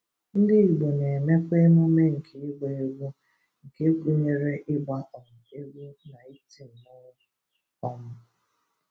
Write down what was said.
Ndị Igbo na-emekwa émụmé nke ịgba égwu, nke gụnyere ịgba um egwú na ịtị mmọnwụ. um